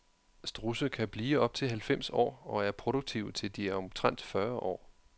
Strudse kan blive op til halvfems år og er produktive til de er omtrent fyrre år.